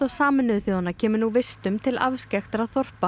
Sameinuðu þjóðanna kemur nú vistum til afskekktra þorpa